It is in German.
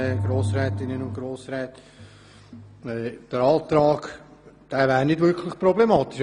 Dieser Antrag wäre nicht wirklich problematisch.